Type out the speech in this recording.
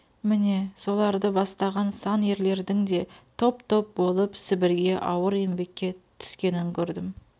міне соларды бастаған сан ерлердің де топ-топ болып сібірге ауыр еңбекке түскенін көрдім